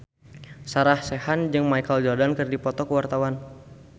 Sarah Sechan jeung Michael Jordan keur dipoto ku wartawan